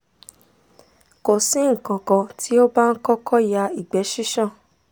ko si nkankan ti o ba n koko ya igbẹ sisan